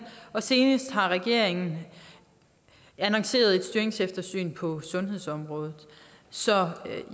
og senest har regeringen annonceret et styringseftersyn på sundhedsområdet så